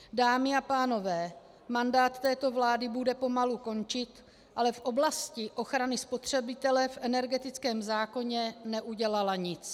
Dámy a pánové, mandát této vlády bude pomalu končit, ale v oblasti ochrany spotřebitele v energetickém zákoně neudělala nic.